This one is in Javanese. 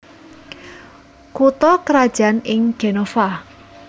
Kutha krajan ing Genova